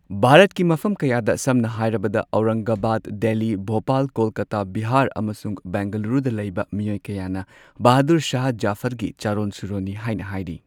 ꯚꯥꯔꯠꯀꯤ ꯃꯐꯝ ꯀꯌꯥꯗ, ꯁꯝꯅ ꯍꯥꯏꯔꯕꯗ ꯑꯧꯔꯪꯒꯕꯥꯗ, ꯗꯦꯜꯂꯤ, ꯚꯣꯄꯥꯜ, ꯀꯣꯜꯀꯥꯇꯥ, ꯕꯤꯍꯥꯔ, ꯑꯃꯁꯨꯡ ꯕꯦꯡꯒꯂꯨꯔꯨꯗ ꯂꯩꯕ ꯃꯤꯑꯣꯢ ꯀꯌꯥꯅ ꯕꯍꯥꯗꯨꯔ ꯁꯥꯍ ꯓꯐꯔꯒꯤ ꯆꯔꯣꯟ ꯁꯨꯔꯣꯟꯅꯤ ꯍꯥꯏꯅ ꯍꯥꯏꯔꯤ꯫